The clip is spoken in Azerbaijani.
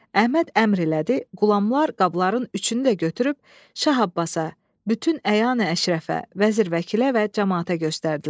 Əhməd əmr elədi, qulamlar qabların üçünü də götürüb Şah Abbasa, bütün əyan əşrəfə, vəzir vəkilə və camaata göstərdilər.